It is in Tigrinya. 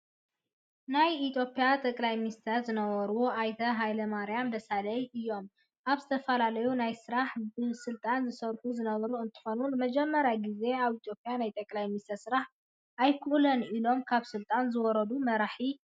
ናይ ኢትዮጵያ ጠቅላይ ሚኒስተር ዝነበሩ ኣይተ ሃይለማርያም ደሰለኝ እዮም። ኣብ ዝተፈላለዩ ናይ ስራሕ ብስልጣን ዝሰርሑ ዝነበሩ እንትኮኑ፣ ንመጀመርያ ግዜ ኣብ ኢትዮጵያ ናይ ጠቅላይ ሚኒስተር ስራሕ ኣይክእሎን ኢሎም ካብ ስልጣኖም ዝወረዱ መራሒ እዮም።